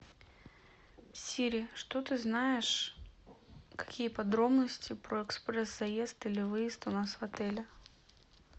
сири что ты знаешь какие подробности про экспресс заезд или выезд у нас в отеле